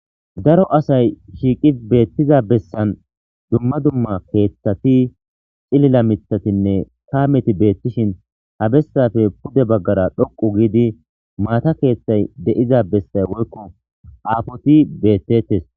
Daro asay shiiqi beettiza bessan dumma dumma keeththati cilila mithatinne kaameti beettishin habessafe pude baggara dhoqu giidi maata keeththay de7iza bessay woykko aafoti beettettes